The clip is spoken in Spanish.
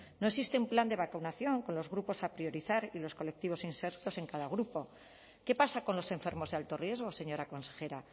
no existe un plan de vacunación con los grupos a priorizar y los colectivos insertos en cada grupo qué pasa con los enfermos de alto riesgo señora consejera